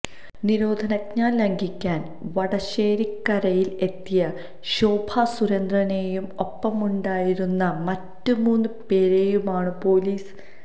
നിരോധനാജ്ഞ ലംഘിക്കാന് വടശ്ശേരിക്കരയില് എത്തിയ ശോഭാ സുരേന്ദ്രനേയും ഒപ്പമുണ്ടായിരുന്ന മറ്റ് മൂന്ന് പോരെയുമാണ് പൊലീസ്